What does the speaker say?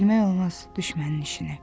Bilmək olmaz düşmənin işini.